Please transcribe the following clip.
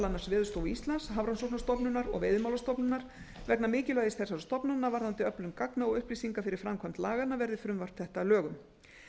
annars veðurstofu íslands hafrannsóknastofnunar og veiðimálastofnunar vegna mikilvægis þessara stofnana varðandi öflun gagna og upplýsinga fyrir framkvæmd laganna verði frumvarp þetta að lögum